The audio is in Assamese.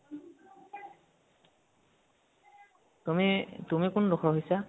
তুমি, তুমি কোন